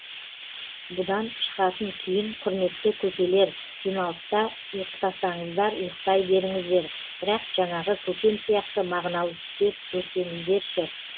бұдан шығатын түйін құрметті көкелер жиналыста ұйықтасаңыздар ұйықтай беріңіздер бірақ жаңағы көкем сияқты мағыналы түстер көрсеңіздерші